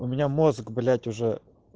у меня мозг блять уже